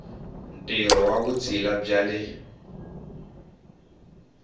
ntirho wa vutshila bya le